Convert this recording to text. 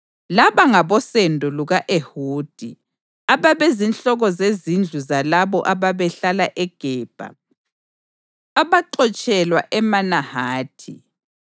Laba ngabosendo luka-Ehudi, ababezinhloko zezindlu zalabo ababehlala eGebha abaxotshelwa eManahathi: